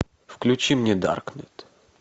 включи мне даркнет